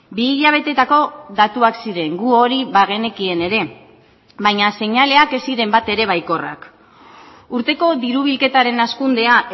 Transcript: bi hilabetetako datuak ziren gu hori bagenekien ere baina seinaleak ez ziren bat ere baikorrak urteko diru bilketaren hazkundea